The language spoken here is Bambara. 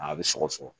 A bɛ sɔgɔ sɔgɔ